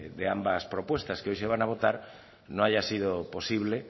de ambas propuestas que hoy se van a votar no haya sido posible